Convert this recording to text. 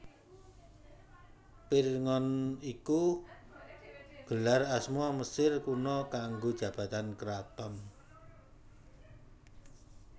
Pirngon iku gelar asma Mesir Kuna kanggo jabatan karaton